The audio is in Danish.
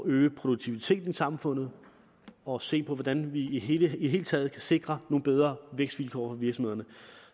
øge produktiviteten i samfundet og se på hvordan vi i det hele taget kan sikre nogle bedre vækstvilkår for virksomhederne